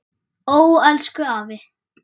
Ó elsku afi.